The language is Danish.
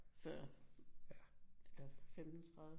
Før eller 15 30